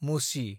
मुसि